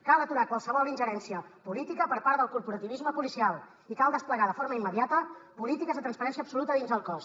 cal aturar qualsevol ingerència política per part del corporativisme policial i cal desplegar de forma immediata polítiques de transparència absoluta dins del cos